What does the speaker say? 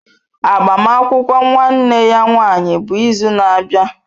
Agbamakwụkwọ nwanne ya nwanyị bụ izu na-abịa.